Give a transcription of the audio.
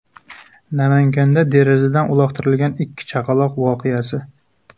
Namanganda derazadan uloqtirilgan ikki chaqaloq voqeasi.